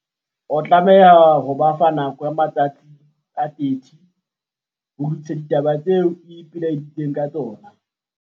O tlameha ho ba fa nako ya matsatsi a 30 ho lokisa ditaba tseo o ipelaeditseng ka tsona.